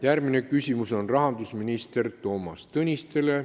Järgmine küsimus on rahandusminister Toomas Tõnistele.